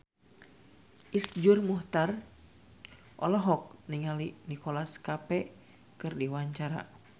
Iszur Muchtar olohok ningali Nicholas Cafe keur diwawancara